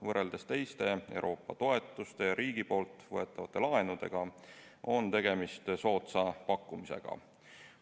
Võrreldes teiste Euroopa toetuste ja riigi võetavate laenudega on tegemist soodsa pakkumisega.